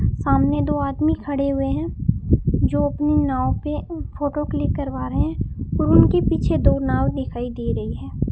सामने दो आदमी खड़े हुए हैं जो अपनी नाव पे फोटो क्लिक करवा रहे हैं और उनके पीछे दो नाव दिखाई दे रही है।